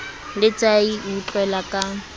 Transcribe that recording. la tahi o utlwela ka